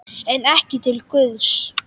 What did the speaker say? En ekki til Guðs.